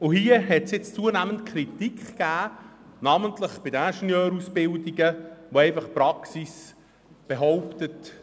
Hier hat es zunehmend Kritik gegeben, insbesondere bei den Ingenieurausbildungen.